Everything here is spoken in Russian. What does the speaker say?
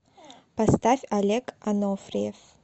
поставь олег анофриев